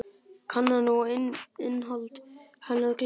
Kannan og innihald hennar gleymt.